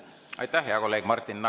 Aitäh, hea kolleeg Martin!